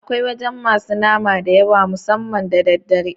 Akwai wajan masu nama da yawa musamman da daddare